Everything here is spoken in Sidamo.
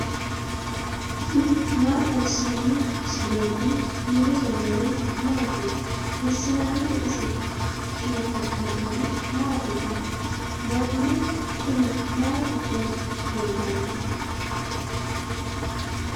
tini maa xawissanno misileeti ? mulese noori maati ? hiissinannite ise ? tini kultannori mattiya? Mannu kunni may giddo leelanno?